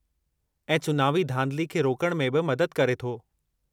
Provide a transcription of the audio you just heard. ऐं चुनावी धांधली खे रोकणु में बि मददु करे थो।